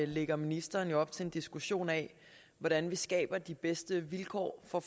lægger ministeren jo op til en diskussion af hvordan vi skaber de bedste vilkår for